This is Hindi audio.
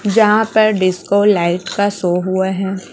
जहां पर डिस्को लाइट का शो हुआ है।